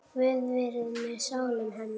Guð veri með sálu hennar.